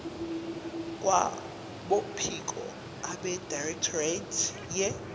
kwabophiko abedirectorate ye